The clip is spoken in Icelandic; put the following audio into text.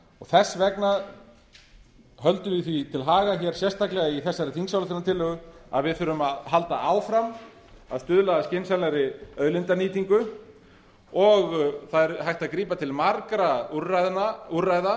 þess vegna höldum við því til haga hér í þessari þingsályktunartillögu að við þurfum að halda áfram að stuðla að skynsamlegri auðlindanýtingu og það er hægt að grípa til margra úrræða